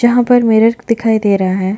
जहाँ पर मेरिट दिखाई दे रहा है।